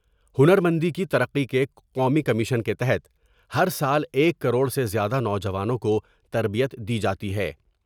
ہنرمندی کی ترقی کے قومی کمیشن کے تحت ہر سال ایک کروڑ سے زیادہ نوجوانوں کو تربیت دی جاتی ہے ۔